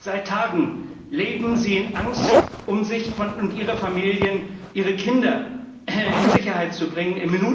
Seit Tagen leben sie in Angst, um sich und ihre Familien, ihre Kinder in Sicherheit zu bringen.